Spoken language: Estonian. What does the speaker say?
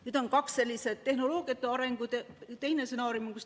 Nüüd on kaks sellis tehnoloogiate arengu stsenaariumi.